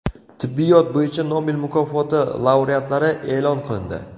Tibbiyot bo‘yicha Nobel mukofoti laureatlari e’lon qilindi .